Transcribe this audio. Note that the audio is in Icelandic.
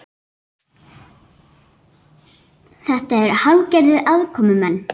Þetta eru hálfgerðir aðkomumenn